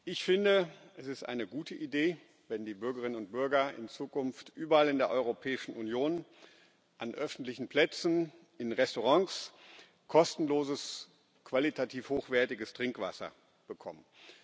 Ich finde, es ist eine gute Idee, wenn die Bürgerinnen und Bürger in Zukunft überall in der Europäischen Union an öffentlichen Plätzen, in Restaurants kostenloses, qualitativ hochwertiges Trinkwasser bekommen.